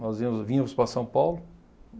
Nós íamos, vínhamos para São Paulo.